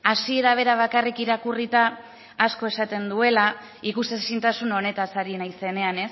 hasiera bera bakarrik irakurrita asko esaten duela ikusezintasun honetaz ari naizenean